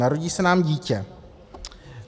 Narodí se nám dítě.